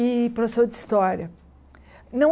E professor de história. Não